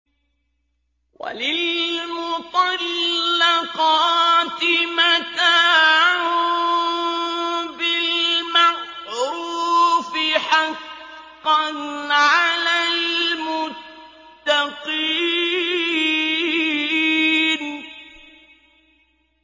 وَلِلْمُطَلَّقَاتِ مَتَاعٌ بِالْمَعْرُوفِ ۖ حَقًّا عَلَى الْمُتَّقِينَ